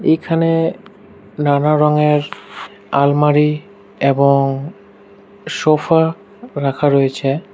এখানে নানা রঙের আলমারি এবং সোফা রাখা রয়েছে।